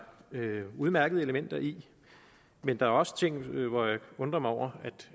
udmærkede elementer i men der er også ting hvor jeg undrer mig over